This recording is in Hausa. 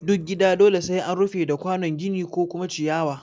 Duk gida dole sai an rufe da kwanon gini ko kuma ciyawa